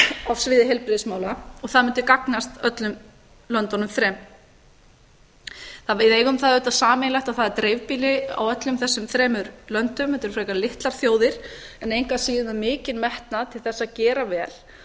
á sviði heilbrigðismála og það mundi gagnast öllum löndunum þremur við eigum það auðvitað sameiginlegt að það er dreifbýli í öllum þessum þremur löndum þetta eru frekar litlar þjóðir en engu að síður með mikinn metnað til þess að gera vel